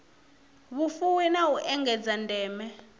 vhufuwi na u engedza ndeme